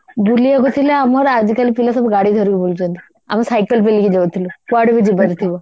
ବୁଲିବାକୁ ଥିଲେ ଆମର ଆଜିକାଲି ପିଲା ସବୁ ଗାଡି ଧରିକି ବୁଲୁଛନ୍ତି ଆମେ cycle ପେଲିକି ଯାଉଥିଲୁ ଯୁଆଡେ ବି ଯିବାର ଥିବ